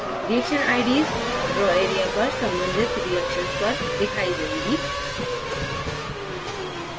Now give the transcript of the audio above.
reaction ids draw area पर संबंधित reactions पर दिखाई देंगी